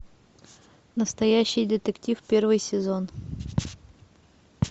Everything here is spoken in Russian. настоящий детектив первый сезон